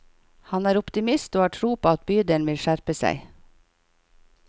Han er optimist og har tro på at bydelen vil skjerpe seg.